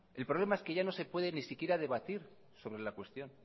el problema es que ya no se puede ni siquiera debatir sobre la cuestión